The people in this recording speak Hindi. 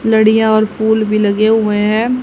लड़ीया और फूल भी लगे हुए है।